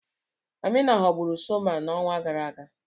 Amina ghọgburu Soma n'ọnwa gara aga.